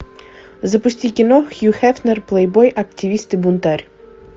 запусти кино хью хефнер плейбой активист и бунтарь